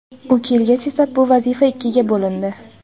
U kelgach esa bu vazifa ikkiga bo‘lindi.